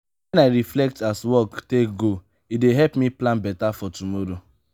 wen i reflect as work take go e dey help me plan beta for tomorrow.